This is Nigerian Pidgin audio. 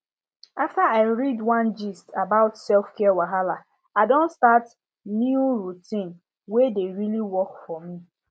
after i read one gist about selfcare wahala i don start new routine wey dey really work for me